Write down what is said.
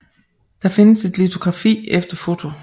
Der findes et litografi efter foto